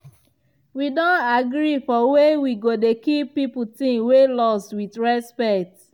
wi don agree for way wi go dey keep people ting wey lost wit respect.